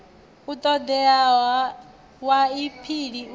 u ṱoḓeaho wa aphili u